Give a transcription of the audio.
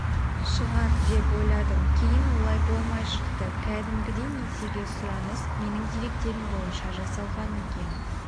шығар деп ойладым кейін олай болмай шықты кәдімгідей несиеге сұраныс менің деректерім бойынша жасалған екен